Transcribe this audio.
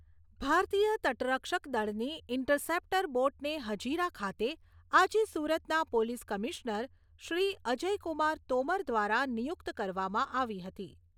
ભારતીય તટરક્ષકદળની ઇન્ટરસેપ્ટર બોટને હજીરા ખાતે આજે સુરતના પોલીસ કમિશનર, શ્રી અજયકુમાર તોમર દ્વારા નિયુક્ત કરવામાં આવી હતી.